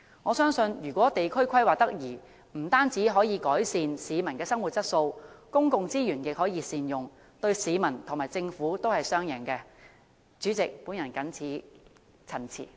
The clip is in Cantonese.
我相信，地區規劃得宜的話，不但可以改善市民的生活質素，亦可以善用公共資源，對市民和政府來說都是雙贏的做法。